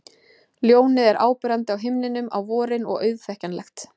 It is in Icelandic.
Ljónið er áberandi á himninum á vorin og auðþekkjanlegt.